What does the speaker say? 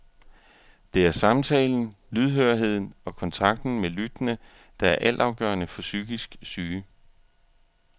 Det er er samtalen, lydhørheden og kontakten med lyttende, der er altafgørende for psykisk syge.